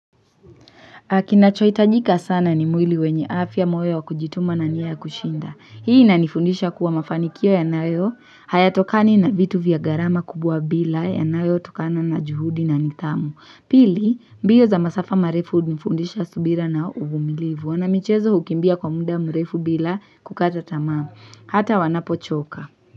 Na kinachohitajika sana ni mwili wenye afya moyo wa kujituma na nia ya kushinda. Hii inanifundisha kuwa mafanikio yanayo hayatokani na vitu vya gharama kubwa bila yanayotokana na juhudi na nidhamu. Pili, mbio za masafa marefu hunifundisha subira na uvumilivu. Wanamichezo hukimbia kwa muda mrefu bila kukata tamaa. Hata wanapochoka.